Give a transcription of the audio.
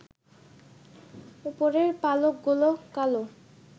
উপরের পালকগুলো কালো